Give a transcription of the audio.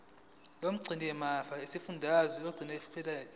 lomgcinimafa lesifundazwe liyokhipha